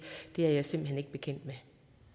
er jeg simpelt hen ikke bekendt med